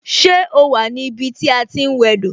Ṣé o wà ní ibi tí a ti ń wẹ do?